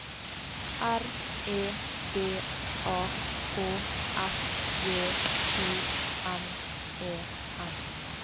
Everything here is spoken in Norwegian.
R E D A K S J O N E N